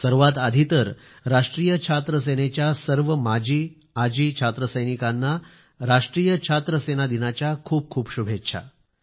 सर्वात आधी तर राष्ट्रीय छात्र सेनेच्या सर्व माजी व आजी छात्रसैनिकांना राष्ट्रीय छात्र सेना दिनाच्या खूप खूप शुभेच्छा